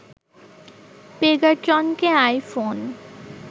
পেগাট্রনকে iPhone